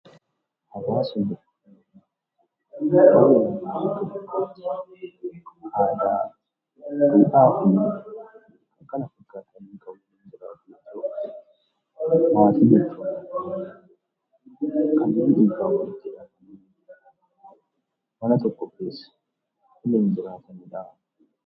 Hawaasa jechuun uummata naannoo tokko jiratani aadaa, duudhaa fi kanneen kana fakkaataniin kan waliin jiraatan yoo ta'u; Maatii jechuun immoo kannen Mana tokko keessa waliin jiraatani dha.